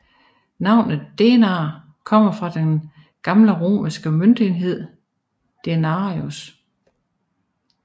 Navnet denar kommer af den gamle romerske møntenhed denarius